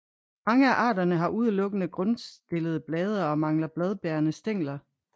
Mange af arterne har udelukkende grundstillede blade og mangler bladbærende stængler